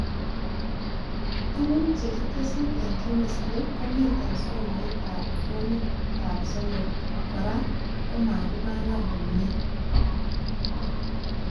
Tuguk chekitesyi eng Chemistry komiten somoitab Form 3, kora komakibangan komie